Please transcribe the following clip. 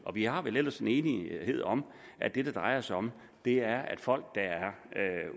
vi har vel ellers en enighed om at det det drejer sig om er at folk der er